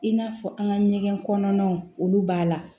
I n'a fɔ an ka ɲɛgɛn kɔnɔnaw olu b'a la